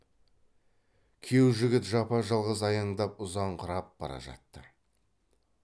күйеу жігіт жапа жалғыз аяңдап ұзаңқырап бара жатты